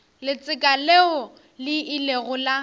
letseka leo le ilego la